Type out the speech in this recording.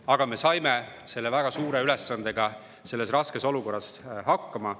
Aga me saime selle väga suure ülesandega selles raskes olukorras hakkama.